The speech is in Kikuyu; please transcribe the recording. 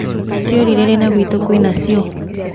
Ciorire rĩ na gwitũ kwĩnacio?